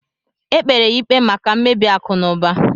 Ekpere ya ikpe maka mmebi akụ na ụba